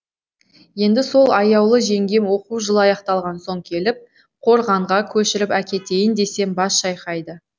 енді сол аяулы жеңгем оқу жылы аяқталған соң келіп қорғанға көшіріп әкетейін десем бас шайқайды